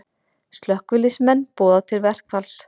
Slökkviliðsmenn boða til verkfalls